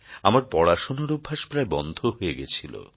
আমার পড়াশোনার অভ্যাস প্রায় বন্ধ হয়ে গেছিল